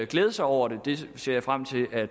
glæder sig over det ser jeg frem til at